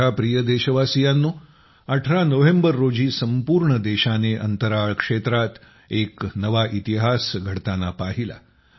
माझ्या प्रिय देशवासियांनो 18 नोव्हेंबर रोजी संपूर्ण देशाने अंतराळ क्षेत्रात एक नवा इतिहास रचताना पाहिला